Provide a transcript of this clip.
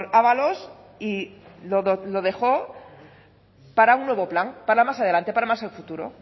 ábalos y lo dejó para un nuevo plan para más adelante para más el futuro